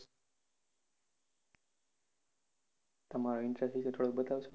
તમારો interest વિષે થોડો બતાવશો.